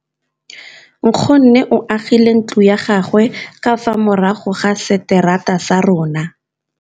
Nkgonne o agile ntlo ya gagwe ka fa morago ga seterata sa rona.